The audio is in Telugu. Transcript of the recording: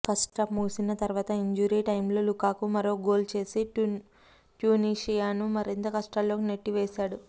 ఫస్టాఫ్ ముగిసిన తర్వాత ఇంజూరీ టైమ్లో లుకాకు మరో గోల్ చేసి ట్యునీషియాను మరింత కష్టాల్లోకి నెట్టివేశాడు